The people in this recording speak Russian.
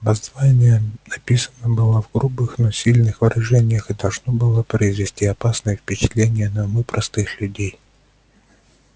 воззвание написано было в грубых но сильных выражениях и должно было произвести опасное впечатление на умы простых людей